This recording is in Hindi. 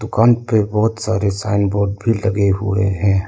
दुकान पे बहुत सारे साइन बोर्ड भी लगे हुए हैं।